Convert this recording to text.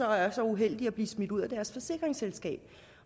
er så uheldige at blive smidt ud af deres forsikringsselskab